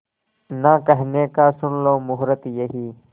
ना कहने का सुन लो मुहूर्त यही